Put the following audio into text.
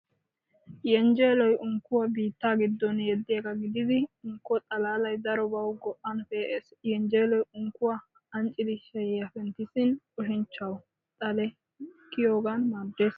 Yenjjeloy unkkuwaa biittaa giddon yeediyaga gidid unkko xalaalay darobawu go'an pe'ees. Yenjjeloy unkkuwaa anccidi shayiya penttisin oshshinchchawu xale kiyiyogan maaddees.